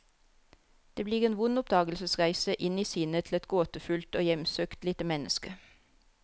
Det blir en vond oppdagelsesreise, inn i sinnet til et gåtefullt og hjemsøkt lite menneske.